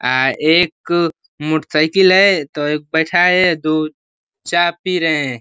आ एक मोटरसाइकिल है तो एक है दो चा पी रहे हैं।